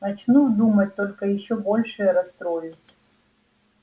начну думать только ещё больше расстроюсь